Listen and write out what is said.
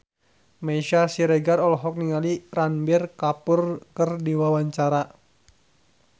Meisya Siregar olohok ningali Ranbir Kapoor keur diwawancara